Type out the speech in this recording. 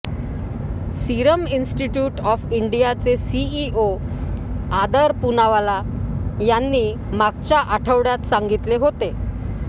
serum Institute of इंडियाचे CEO Adar Poonawalla यांनी मागच्या आढवड्यात सांगितले होते